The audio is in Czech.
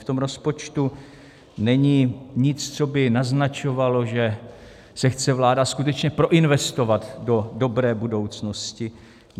V tom rozpočtu není nic, co by naznačovalo, že se chce vláda skutečně proinvestovat do dobré budoucnosti.